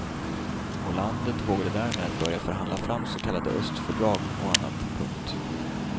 Och landet vågade därmed börja förhandla fram så kallade östfördrag och annat. punkt